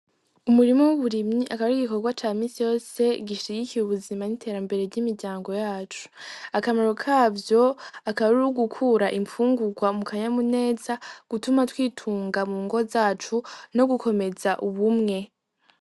Umurima w'uburimyi akaba ari igikorwa ca misi yose gishigikiye ubuzima n'iterambere ry'imiryango yacu , akamaro kavyo akaba ari ugukura imfungurwa mu kanyamuneza gutuma twitunga mungo zacu no gukomeza ubumwe.